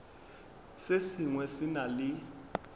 se sengwe se na le